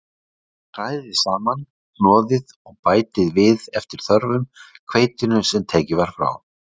Hrærið saman, hnoðið og bætið við eftir þörfum hveitinu sem tekið var frá.